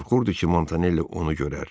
O qorxurdu ki, Montanelli onu görər.